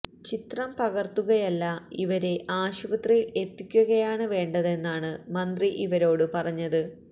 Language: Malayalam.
ചിത്രം പകർത്തുകയല്ല ഇവരെ ആശുപത്രിയിൽ എത്തിക്കുകയാണ് വേണ്ടതെന്നാണ് മന്ത്രി ഇവരോടു പറഞ്ഞത്